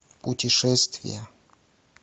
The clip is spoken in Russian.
путешествия